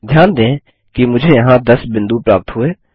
ध्यान दें कि मुझे यहाँ 10 बिंदु प्राप्त हुए